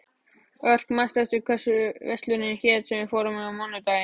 Örk, manstu hvað verslunin hét sem við fórum í á mánudaginn?